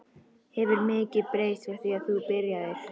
Hefur mikið breyst frá því þú byrjaðir?